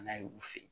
N'a ye u fe yen